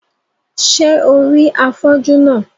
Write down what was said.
Ṣé o rí afọ́jú náà?